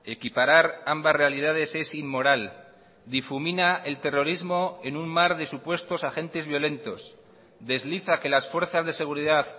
equiparar ambas realidades es inmoral difumina el terrorismo en un mar de supuestos agentes violentos desliza que las fuerzas de seguridad